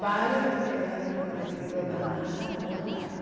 Vários colegas do meu marido da NASA não voltaram.